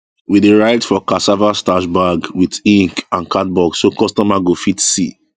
we dey write for cassava starch bag with ink and cardboard so customer go fit see